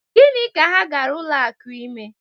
Gịnị ka ha gara ụlọ akụ ime?